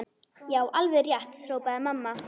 Já, alveg rétt hrópaði mamma.